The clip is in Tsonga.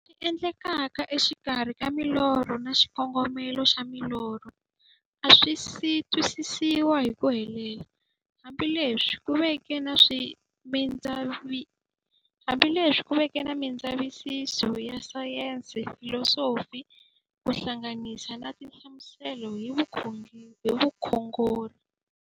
Leswi endlekaka e xikarhi ka milorho na xikongomelo xa milorho a swisi twisisiwa hi ku helela, hambi leswi ku veke na mindzavisiso ya sayensi, filosofi ku hlanganisa na tinhlamuselo hi vukhongori.